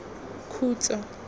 khutso